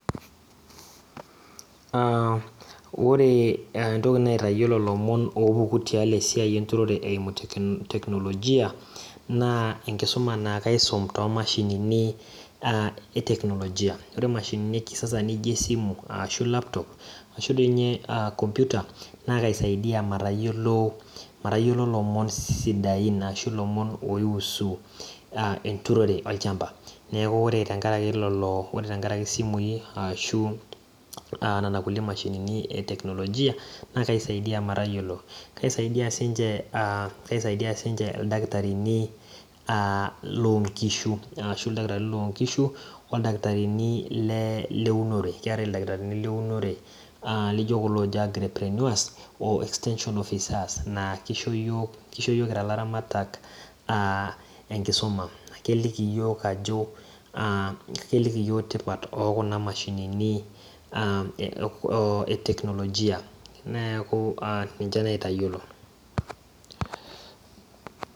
Aam ,ore entoki naitayiolo lomon opuku tialo esiai enturore eimu teknolojia naa enkisuma naa kaisum toomashini aa eteknolojia, ore mashinini ekisasa nijo esimu ashu laptop ashu dii ninye computer naa kaisaidia matayiolo, matayiolo lomon sidain ashu lomon oishusu a entururore olchamba neeku ore tenkaraki lelo, ore tenkaraki isimui ashu aa nena kulie mashinini eteknolojia naa kaisaidia matayiolo, kaisaidia sinche , kaisaidia sinche ildakitarini aa lonkishu arashu ildakitarini loonkishu oldakitarini le le leunore keetae ildakitarini leunore aa lijo kuno agriprenueres oextension officers kisho yiok, kisho yiok kira laramatak aa enkisuma , keliki yiok aa keliki iyiok tipat okuna mashinini aa eteknolojia neeku ee ninche naitayiolo .